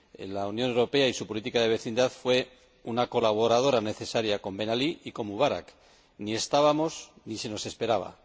La Unión Europea con su política de vecindad fue una colaboradora necesaria con Ben Ali y con Mubarak ni estábamos ni se nos esperaba